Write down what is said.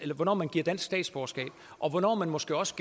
hvornår man giver dansk statsborgerskab og hvornår man måske også